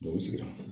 Dɔw sigira